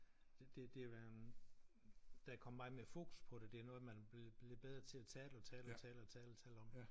Det det det øh der kommet meget mere fokus på det. Det noget man er blevet bedre til at tale og tale og tale og tale og tale om